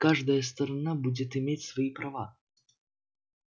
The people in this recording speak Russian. каждая сторона будет иметь свои права